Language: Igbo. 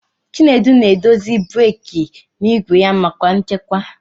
Chinedu na-edozi breeki n'igwe ya maka nchekwa.